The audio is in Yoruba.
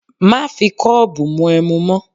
Má fi kọ́ọ̀bù mu ẹmu mọ́!